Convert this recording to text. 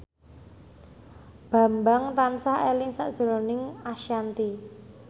Bambang tansah eling sakjroning Ashanti